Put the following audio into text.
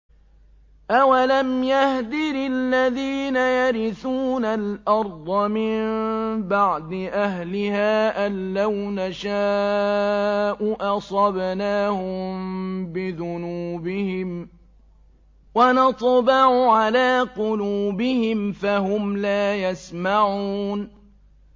أَوَلَمْ يَهْدِ لِلَّذِينَ يَرِثُونَ الْأَرْضَ مِن بَعْدِ أَهْلِهَا أَن لَّوْ نَشَاءُ أَصَبْنَاهُم بِذُنُوبِهِمْ ۚ وَنَطْبَعُ عَلَىٰ قُلُوبِهِمْ فَهُمْ لَا يَسْمَعُونَ